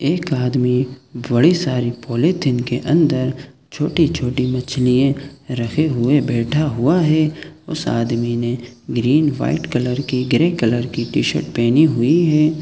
एक आदमी बड़े सारे पॉलीथिन के अंदर छोटी-छोटी मछलिये रखे हुए बैठा हुआ है उस आदमी ने ग्रीन व्हाइट कलर के ग्रे कलर की टी शर्ट पहनी हुई है।